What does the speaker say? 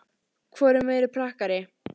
Hvor er meiri prakkari?